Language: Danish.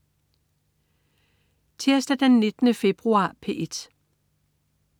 Tirsdag den 19. februar - P1: